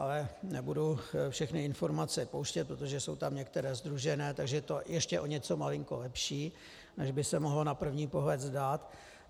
Ale nebudu všechny informace pouštět, protože jsou tam některé sdružené, takže je to ještě o něco malinko lepší, než by se mohlo na první pohled zdát.